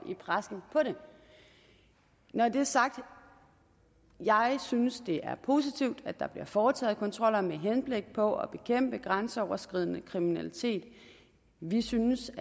i pressen på det når det er sagt jeg synes det er positivt at der bliver foretaget kontroller med henblik på at bekæmpe grænseoverskridende kriminalitet vi synes